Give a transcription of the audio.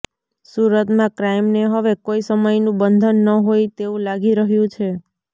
સુરતમાં ક્રાઈમને હવે કોઈ સમયનું બંધન ન હોઈ તેવું લાગી રહ્યું છે